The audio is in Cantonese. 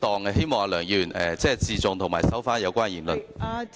我希望梁議員自重，並收回有關言論。